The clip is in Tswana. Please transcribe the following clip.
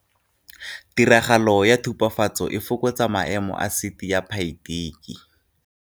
Tiragalo ya tubafatso e fokotsa maemo a asiti ya phaitiki.